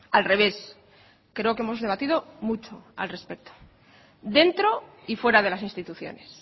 al revés creo que hemos debatido mucho al respecto dentro y fuera de las instituciones